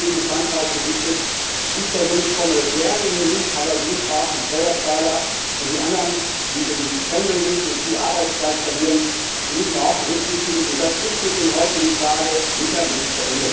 Das ist nicht gegen Frankreich gerichtet. Ich persönlich komme gerne hierher, aber wir müssen auch die Steuerzahler und die anderen, die eben pendeln müssen und viel Arbeitszeit verlieren, berücksichtigen, und dieses Problem ist mit dem heutigen Tage sicher nicht